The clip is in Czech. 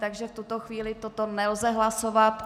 Takže v tuto chvíli toto nelze hlasovat.